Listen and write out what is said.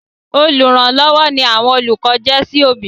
Olùrànlọ́wọ́ ni àwọn olùkọ jẹ́ sí òbí.